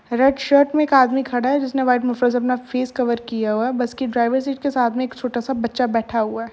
Red shirt में एक आदमी खड़ा है जिसने व्हाइट मुफलर से अपना फेस कवर किया हुआ है। बस की ड्राईवर सीट के साथ में एक छोटा सा बच्चा बैठा हुआ है।